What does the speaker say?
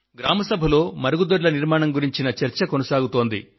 గ్రామ సభలో మరుగుదొడ్ల నిర్మాణం గురించి చర్చ కొనసాగుతోంది